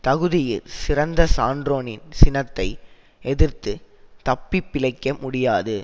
தகுதியிற் சிறந்த சான்றோனின் சினத்தை எதிர்த்துத் தப்பி பிழைக்க முடியாது